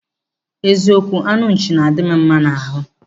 Eziokwu, anụ nchi na-adị m mma n'ahụ.